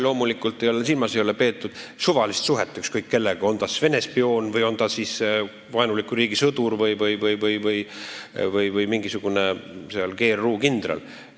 Loomulikult ei ole silmas peetud suvalist suhet ükskõik kellega, on ta siis Vene spioon, vaenuliku riigi sõdur või mingisugune GRU kindral.